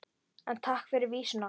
En takk fyrir vísuna!